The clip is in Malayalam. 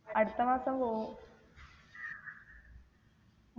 അടുത്ത മാസം പോകും